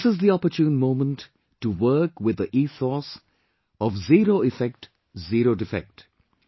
This is the opportune moment to work with the ethos of 'zero effect, zero defect'